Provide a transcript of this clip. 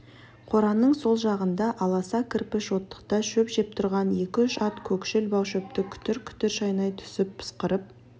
қораның сол жағында аласа кірпіш оттықта шөп жеп тұрған екі-үш ат көкшіл бау шөпті күтір-күтір шайнай түсіп пысқырып